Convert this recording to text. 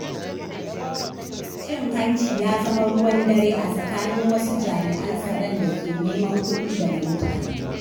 Cin hanci ya zama ruwan dare a tsakanin wasu jami’an tsaron da ke neman kuɗi daga mutane.